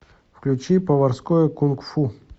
включи поварское кунг фу